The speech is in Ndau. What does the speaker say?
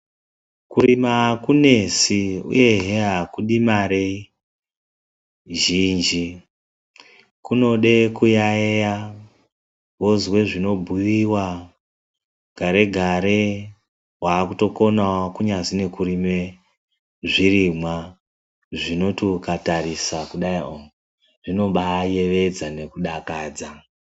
Kurima akunesi uye akudi Mari zhinji kunodewo kuyayeya wozwa zvinobhuyiwa gare gare wakutokonawo kunyazi kurima zvirimwa zvinoti ukaningira kudai zvinobaada ayevedza nekudakadzakadza.